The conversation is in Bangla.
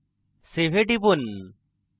save এ টিপুন